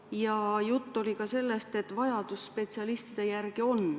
Ja juttu oli ka sellest, et on suur vajadus spetsialistide järele.